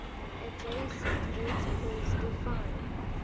adjacent vertices define